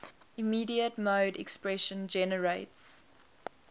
immediate mode expression generates